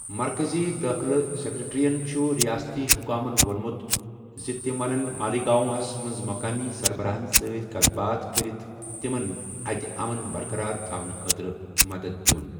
مرکٔزی دٲخلہٕ سیٚکریٹرٛیَن چُھ رِیٲستی حُکامن ووٚنمُت زِ تِم ونن مالیگاوں ہس منٛز مُقٲمی سربَراہن سۭتۍ کَتھ باتھ كرِتھ تِمن اَتہِ اَمن برقَرار تھاونہٕ خٲطرٕ مَدد دِیُن ۔